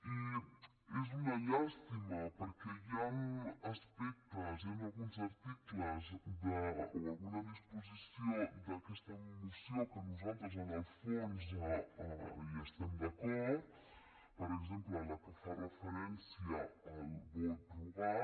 i és una llàstima perquè hi han aspectes hi han alguns articles o alguna disposició d’aquesta moció que nosaltres en el fons hi estem d’acord per exemple amb la que fa referència al vot rogat